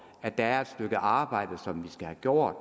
at der er et stykke arbejde som vi skal have gjort